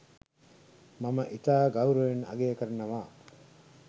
මම ඉතා ගෞරවයෙන් අගය කරනවා.